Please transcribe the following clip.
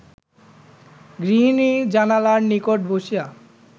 গৃহিণী জানালার নিকট বসিয়া